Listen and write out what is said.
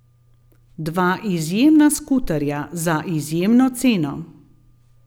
Dva izjemna skuterja za izjemno ceno.